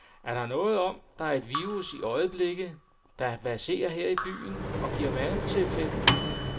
Er der noget om, at der er et virus i øjeblikket, der verserer her i byen og giver mavetilfælde?